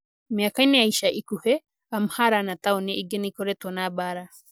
Mĩaka-inĩ ya ica ikuhĩ, Amhara na taũni ingĩ nĩ ikoretwo na mbaara.